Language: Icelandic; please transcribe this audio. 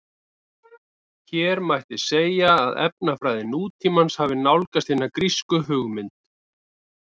Hér mætti segja að efnafræði nútímans hafi nálgast hina grísku hugmynd.